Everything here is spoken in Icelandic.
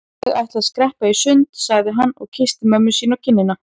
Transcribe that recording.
Ég ætla að skreppa í sund sagði hann og kyssti mömmu sína á kinnina.